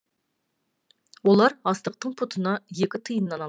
олар астықтың пұтына екі тиыннан алады